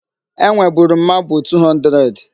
Enweburu m mabụ 200.